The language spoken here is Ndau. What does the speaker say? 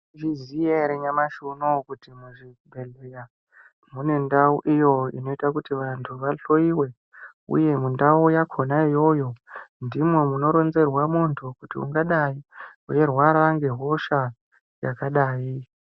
Maizviziya ere nyamashi unouyu kuti muzvibhedhleya mune ndau iyo inoite kuti vantu vahloiwe, uye mundau yakona iyoyo ndimwo munoronzerwa muntu kuti ungadai veirwara ngehosha yakadai.